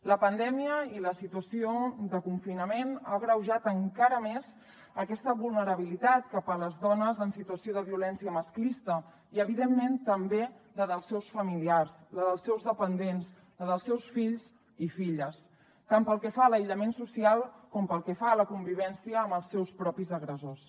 la pandèmia i la situació de confinament ha agreujat encara més aquesta vulnerabilitat cap a les dones en situació de violència masclista i evidentment també la dels seus familiars la dels seus dependents la dels seus fills i filles tant pel que fa a l’aïllament social com pel que fa a la convivència amb els seus propis agressors